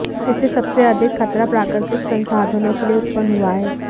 इससे सबसे अधिक खतरा प्राकृतिक संसाधनों के लिए उत्पन्न हुआ है